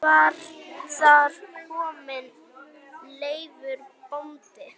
Var þar kominn Leifur bóndi.